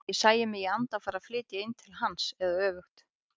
Og ég sæi mig í anda fara að flytja inn til hans eða öfugt.